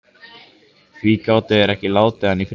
Því gátu þeir ekki látið hann í friði?